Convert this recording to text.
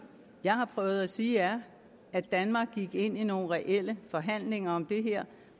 jeg har prøvet at sige er at danmark gik ind i nogle reelle forhandlinger om det her